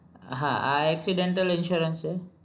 હા આ accidental insurance છે